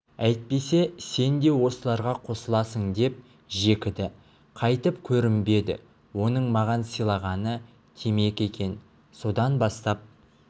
әйтпесе сен де осыларға қосыласың деп жекіді қайтып көрінбеді оның маған сыйлағаны темекі екен содан бастап